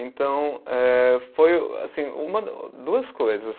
Então eh, foi assim, uma, duas coisas.